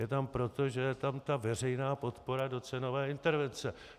Je to proto, že tam je ta veřejná podpora do cenové intervence.